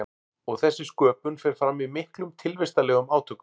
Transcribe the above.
Og þessi sköpun fer fram í miklum tilvistarlegum átökum.